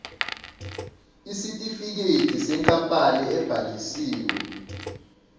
isitifikedi senkampani ebhalisiwe